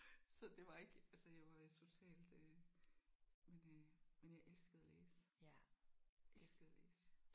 Så det var ikke altså jeg jo var totalt øh men øh men jeg elskede at læse elskede at læse